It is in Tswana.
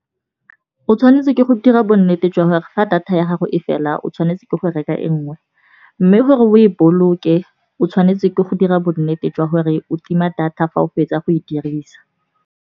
O tshwanetse ke go dira bonnete jwa gore fa data ya gago e fela, o tshwanetse ke go reka e nngwe. Mme gore o e boloke o tshwanetse ke go dira bonnete jwa gore o tima data fa o fetsa go e dirisa.